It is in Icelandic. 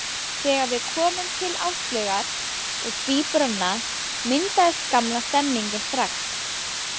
Þegar við komum til Áslaugar og tvíburanna, myndaðist gamla stemningin strax.